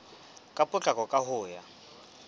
ka potlako ka ho ya